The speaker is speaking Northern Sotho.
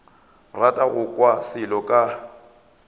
rata go kwa selo ka